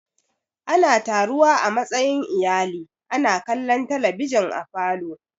Ana taruwa a matsayin iyali ana kallon talabijin a falo.